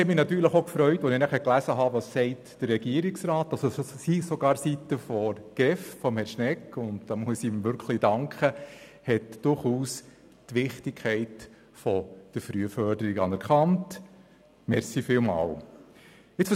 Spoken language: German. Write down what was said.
Die Aussage des Regierungsrats, der GEF und von Herrn Schnegg, in der die Wichtigkeit der Frühförderung anerkannt wird, haben mich selbstverständlich gefreut.